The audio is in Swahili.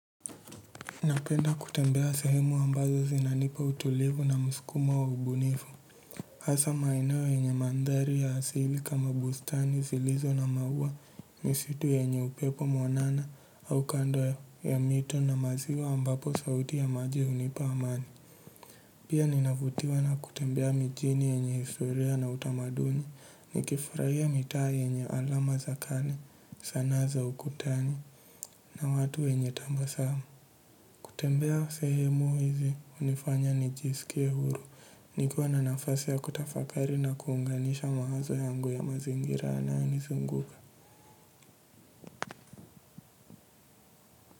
Napenda kutembea sehemu ambazo zinanipa utulivu na muskumo wa ubunifu hasa maeneo yenye mandhari ya asili kama bustani zilizo na maua misitu yenye upepo mwanana au kando ya mito na maziwa ambapo sauti ya maji hunipa amani. Pia ninavutiwa na kutembea mijini yenye historia na utamaduni nikifurahia mitaa yenye alama za kani sanaa za ukutani na watu wenye tabasamu. Kutembea sehemu hizi hunifanya nijiskie huru nikuwa na nafasi ya kutafakari na kuunganisha mawazo yangu ya mazingira yanayo nizunguka.